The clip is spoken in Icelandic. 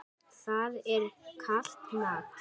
Það er kalt mat.